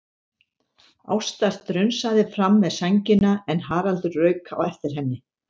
Ásta strunsaði fram með sængina en Haraldur rauk á eftir henni.